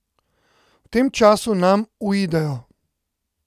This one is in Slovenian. V tem času nam uidejo.